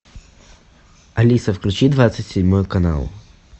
алиса включи двадцать седьмой канал